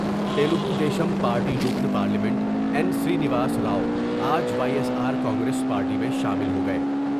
Telugu Desam party رکن parliament N Srinivas Rao آج Y S R Congress party میں شامل ہو گئے ۔